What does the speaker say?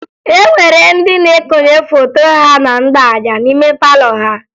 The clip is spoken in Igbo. E nwere ndị na-ekonye foto ha na mgbaaja n'ime palọ ha